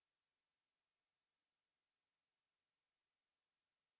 आपके पास केवल test होना चाहिए और हमें test मिला है